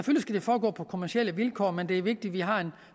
skal det foregå på kommercielle vilkår men det er vigtigt at vi har en